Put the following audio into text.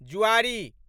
जुआरी